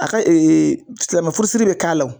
A ka silamɛmɛ furusiri bɛ k'a la